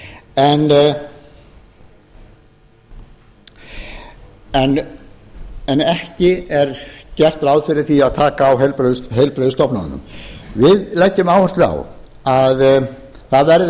landspítalans og fjórðungssjúkrahússins á akureyri en ekki er gert ráð fyrir því að taka á heilbrigðisstofnunum við leggjum áherslu á að það verði